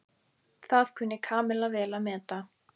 Það kunni Kamilla vel að meta.